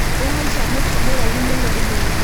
Nĩahaica mũtĩ mũraihu mũno ũmũthĩ